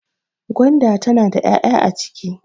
gwanda tana da ya'ya a ciki